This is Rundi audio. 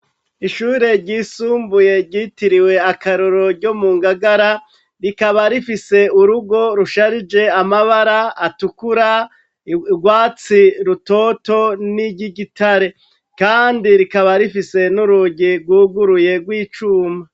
Ishure ryisumbuye ryitiriwe akarorero ryo mu Ngagara rikaba rifise urugo rusharija amabara atukura, urwatsi rutoto niry'igitare. Kandi rikaba rifise n'urugi rwuguruye rw'icuma.